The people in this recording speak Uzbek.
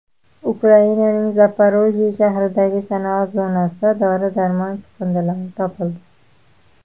Ukrainaning Zaporojye shahridagi sanoat zonasida dori-darmon chiqindilari topildi.